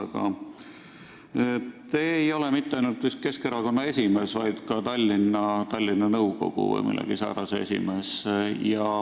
Aga te ei ole mitte ainult Keskerakonna esimees, vaid ka Tallinna nõukogu või millegi säärase esimees.